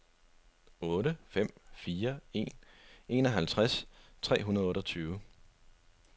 otte fem fire en enoghalvtreds tre hundrede og otteogtyve